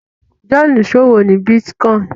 John ìṣòwò ní bitcoin